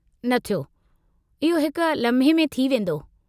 न थियो, इहो हिक लम्हे में थी वेंदो।